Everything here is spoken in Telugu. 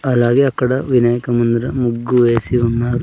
అలాగే అక్కడ వినాయక ముందర ముగ్గు వేసి ఉన్నారు.